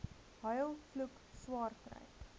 huil vloek swaarkry